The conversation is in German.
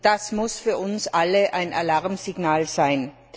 Das muss für uns alle ein Alarmsignal sein.